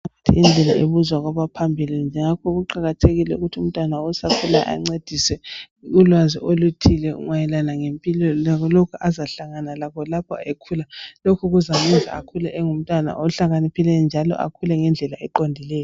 Indlela ibuzwa kwabaphambile ngakho kuqakathekile ukuthi umntwana osakhula ancediswe ulwazi oluthile mayelana ngempilo lalokho azahlangana lakho lapho ekhula lokhu kuzamenza akhule engumntana ohlakaniphileyo njalo akhule ngendlela eqondileyo.